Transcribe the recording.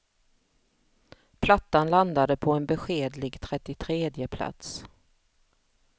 Plattan landade på en beskedlig trettiotredje plats.